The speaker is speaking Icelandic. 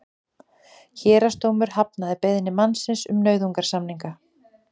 Héraðsdómur hafnaði beiðni mannsins um nauðasamninga